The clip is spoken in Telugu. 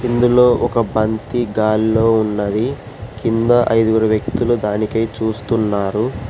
ఇందులో ఒక బంతి గాల్లో ఉన్నది కింద ఐదుగురు వ్యక్తులు దానికై చూస్తున్నారు.